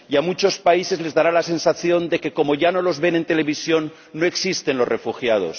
Y a muchos países les dará la sensación de que, como ya no los ven en televisión, no existen los refugiados.